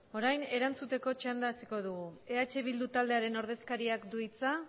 orain erantzuteko txanda hasiko dugu eh bildu taldearen ordezkariak du hitza